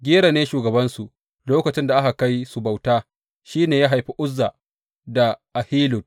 Gera ne shugabansu lokacin da aka kai su bauta, shi ne ya haifi Uzza da Ahilud.